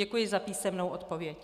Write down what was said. Děkuji za písemnou odpověď.